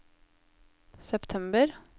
september